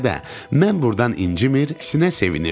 mən burdan incimir, sinə sevinirdim.